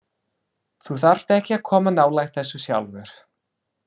Þú þarft ekki að koma nálægt þessu sjálfur.